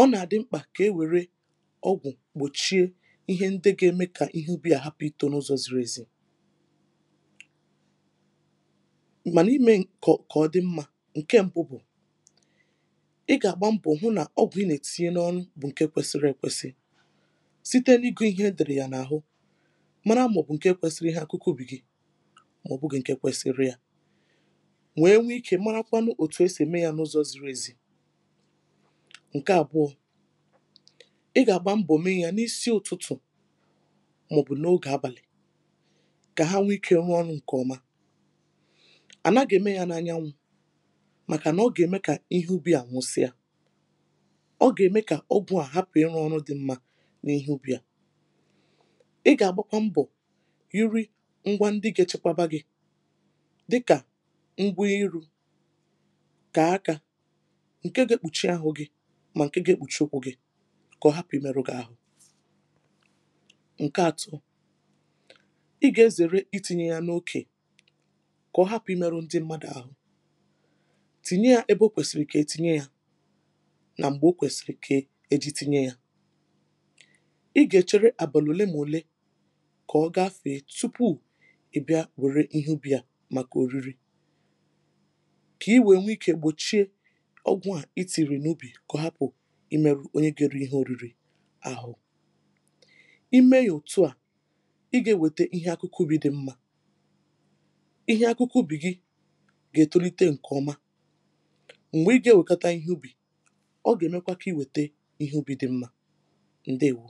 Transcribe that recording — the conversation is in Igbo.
ọ nà-àdị mkpà kà e wère ọgwụ̀ gbòchie ihe ndị gȧ-ème kà ihe ubì à hapụ̇ itȯ n’ ụzọ̇ ziri ezi [paues]mànà imė ka kọ dị mmȧ. ǹke mbụ bụ̀ i ga agba mbọ hụ na ọgwụ I na etinye n'ọrụ bu nke kwesịrị ekwesị site n’igù ihe e dèrè yà n’àhụ mara mà ọ̀ bụ̀ ǹke kwesiri ihe akụkụ ubì gị mà ọ̀bụ̀gị̇ ǹke kwesiri yȧ wèe nwee ikė marakwanụ ètù e sì mee yȧ n’ụzọ̇ ziri ezi. ǹke àbụọ ị gà-àgba mbọ̀ mee yȧ n’isi ụ̀tụtụ̀ mà ọ̀ bụ̀ n’ogè abàlị̀ kà ha nwee ikė nwee ike rụọ ọrụ ǹkè ọma ànaghị̇ ème yȧ n’anyanwụ̇ màkà nà ọ gà-ème kà ihe ubi à nwụsịa ọ ga eme ka ọgwụ a hapụ ịrụ ọrụ dị mma n'ihe ubi a .I ga agbakwa mbọ nyiri ngwa ndị ga echekwaba gị dịka ngwa ịrụ, nke aka ǹke ga-ekpùchi ahụ̀ gị̀ mà ǹke ga-ekpùchi okwu̇ gị̇ kà ọ hapụ̀ imerụ gà-ahụ̀.ǹke ȧtọ ị gà-ezère iti̇nyė yȧ n’okè kà ọ hapụ̀ imerụ ndị mmadụ̀ ȧhụ̇, tìnye yȧ ebe o kwèsìrì kà e tinye yȧ na m̀gbè o kwèsìrì kà eji tinye ya. ị gà-èchere àbàlụ̀ òle nà òle kà ọ gafèe tupu ị bịa wère ihe ubì ya màkà òriri, kà i wèe nwee ikė gbòchie ọgwụ̀ a i tinyere n’ubì kà ọ hapụ̀ ịmėrụ onye ga eri ihe òriri ahụ,i mee yȧ òtu à ị gà-ewètè ihe akụkụ ubì dị̀ mmȧ [paues]ihe akụkụ ubì gị gà-ètolite ǹkèọma m̀gbè ị gà-ewèkata ihe ubì ọ gá emekwa ka inweta ihe ubi dị mma ǹdewo